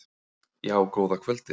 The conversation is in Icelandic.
Já, góða kvöldið.